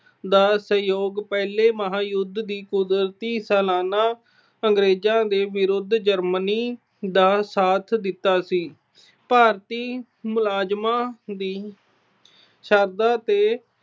ਦਾ ਸਹਿਯੋਗ ਪਹਿਲੇ ਮਹਾਯੁਧ ਦੀ ਸਲਾਨਾ ਅੰਗਰੇਜਾਂ ਦੇ ਵਿਰੁੱਧ Germany ਦਾ ਸਾਥ ਦਿੱਤਾ ਸੀ। ਭਾਰਤੀ ਮੁਲਾਜਮਾਂ ਦੀ ਸ਼ਰਧਾ ਤੇ